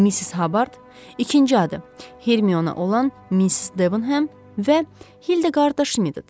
Missis Habard, ikinci adı Hermiona olan Miss Devonhəm və Hilda Qardaşimiddir.